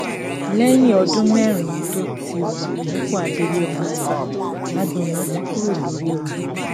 lẹ́yìn ọdún mẹ́rin tó ti wà nípò adelé ọmọọba agboná ti kúrò lórí oyè